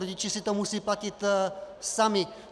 Rodiče si to musí platit sami.